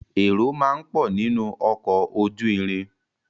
Èrò máa ń pọ̀ nínu ọkọ̀ ojú irin.